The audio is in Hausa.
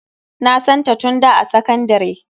Na santa tun da a sakandire.